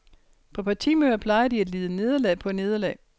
På partimøder plejer de at lide nederlag på nederlag.